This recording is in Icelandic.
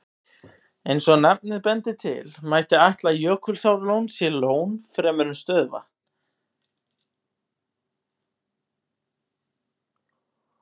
Eins og nafnið bendir til, mætti ætla að Jökulsárlón sé lón fremur en stöðuvatn.